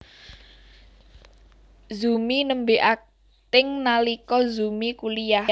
Zumi nembé akting nalika Zumi kuliyah